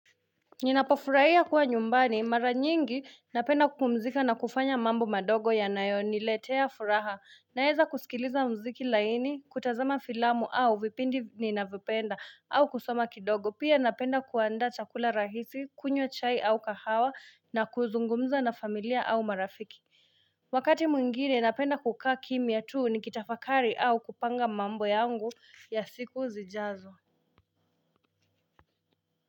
Ninapofurahia kuwa nyumbani mara nyingi napenda kupumzika na kufanya mambo madogo yanayoniletea furaha naweza kusikiliza mziki laini kutazama filamu au vipindi ninavyopenda au kusoma kidogo pia napenda kuanda chakula rahisi kunywa chai au kahawa na kuzungumza na familia au marafiki Wakati mwingine napenda kukaa kimia tuu nikitafakari au kupanga mambo yangu ya siku zijazo.